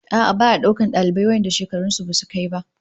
A'a, ba'a daukar dalibai wanda shekarun su basu kai ba